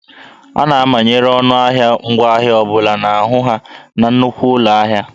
A na-amanyere ọnụ ahịa ngwaahịa ọ bụla n'ahụ ha na nnukwu ụlọ ahịa